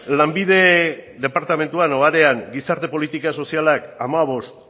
lanbide departamentuan edo arean gizarte politika sozialak hamabost